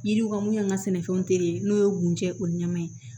Yiriw ka mun an ka sɛnɛfɛnw tere n'o ye gunde o ɲɛmin ye